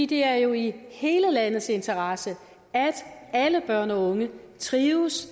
det er jo i hele landets interesse at alle børn og unge trives